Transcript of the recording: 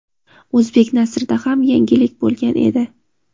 o‘zbek nasrida ham yangilik bo‘lgan edi.